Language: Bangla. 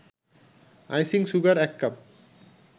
icing sugar ১ cup